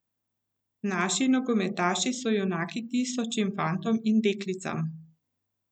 Naši nogometaši so junaki tisočim fantom in deklicam.